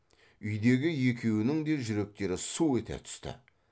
үйдегі екеуінің де жүректері су ете түсті